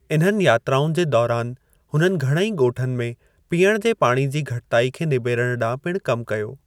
इन्हनि यात्राउनि जे दौरान हुननि घणेई ॻोठनि में पीयणु जे पाणी जी घटिताई खे निबेरणु ॾांहुं पणि कम कयो।